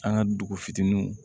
An ka dugu fitininw